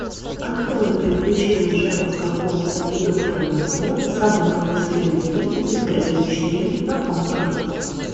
открой приключения шерлока холмса и доктора ватсона собака баскервилей ультра эйч ди на окко